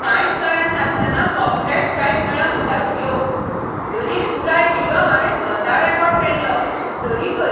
कांयच कारण नासतना कॉपीराइट स्ट्राइक मेळ्ळा म्हज्या व्हिडियोक. जरी पुराय व्हिडियो हांवें स्वता रेकॉर्ड केल्लो, तरीकय.